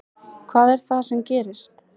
Hvað er það sem gerist?